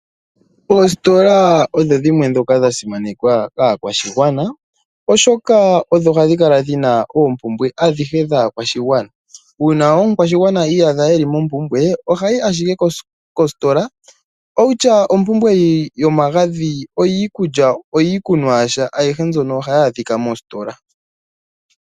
Oostola odho dhimwe ndhoka dha simanekwa kaakwashigwana, oshoka odho hadhi kala dhina oompumbwe adhihe dhaakwashigwana uuna omukwashigwana iyadha eli mompumbwe ohayi ashike kostola owutya ompumbwe yomagadhi oyikulya , oyikunwa yasha ayihe mbyono ohayi adhika mostola.